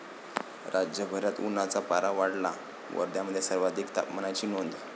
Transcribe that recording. राज्यभरात उन्हाचा पारा वाढला, वर्ध्यामध्ये सर्वाधिक तापमानाची नोंद